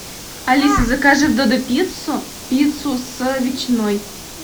алиса закажи в додопиццу пиццу с ветчиной